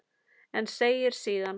En segir síðan